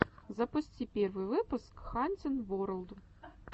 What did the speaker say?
запусти первый выпуск хантин ворлд